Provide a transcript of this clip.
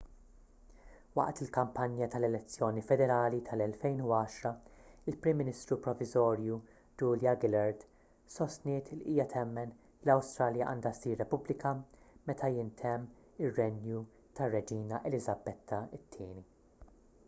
waqt il-kampanja tal-elezzjoni federali tal-2010 il-prim ministru proviżorju julia gillard sostniet li hija temmen li l-awstralja għandha ssir repubblika meta jintemm ir-renju tar-reġina eliżabetta ii